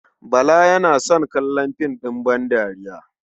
Bala yana son kallon fim ɗin bandariya.